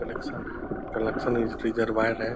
Collection है collection wire है।